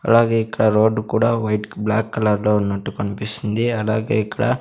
అలాగే ఇక్కడ రోడ్ కూడా వైట్ బ్లాక్ కలర్ లో ఉన్నటు కన్పిస్తుంది అలాగే ఇక్కడ --